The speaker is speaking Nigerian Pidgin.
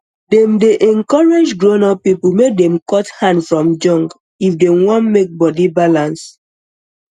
dem dem dey encourage grownup people make dem cut hand from junk if dem wan make body balance